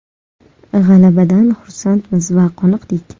G‘alabadan xursandmiz va qoniqdik.